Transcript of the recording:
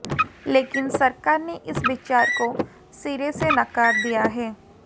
लेकिन सरकार ने इस विचार को सिरे से नकार दिया है